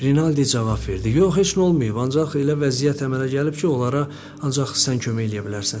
Rinaldi cavab verdi: yox, heç nə olmayıb, ancaq elə vəziyyət əmələ gəlib ki, onlara ancaq sən kömək eləyə bilərsən.